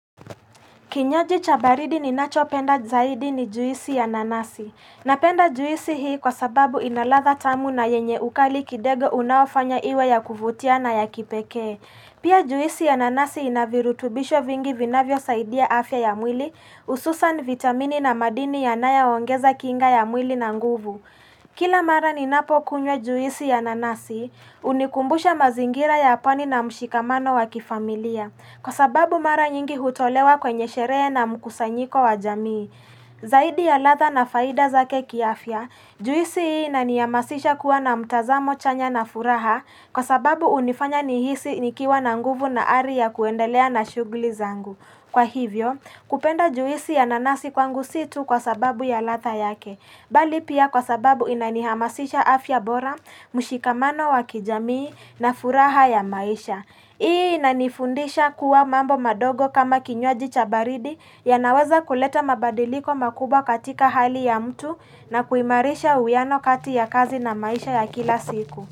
Kinywaji cha baridi ni nachopenda zaidi ni juisi ya nanasi. Napenda juisi hii kwa sababu inaladha tamu na yenye ukali kidogo unaofanya iwe ya kuvutia na ya kipekee. Pia juisi ya nanasi inavirutubisho vingi vinavyo saidia afya ya mwili, hususan, vitamini na madini yanayoongeza kinga ya mwili na nguvu. Kila mara ninapo kunywa juisi ya nanasi, hunikumbusha mazingira ya pwani na mshikamano wa kilifamilia. Kwa sababu mara nyingi hutolewa kwenye sherehe na mkusanyiko wa jamii. Zaidi ya ladha na faida zake kiafia, juisi hii inanihamasisha kuwa na mtazamo chanya na furaha kwa sababu hunifanya nihisi nikiwa na nguvu na ari ya kuendelea na shughuli zangu. Kwa hivyo, kupenda juisi ya nanasi kwangu si tu kwa sababu ya ladha yake, bali pia kwa sababu inanihamasisha afya bora, mushikamano wa kijamii na furaha ya maisha. Hii inanifundisha kuwa mambo madogo kama kinywaji cha baridi yanaweza kuleta mabadiliko makubwa katika hali ya mtu na kuimarisha uwiano kati ya kazi na maisha ya kila siku.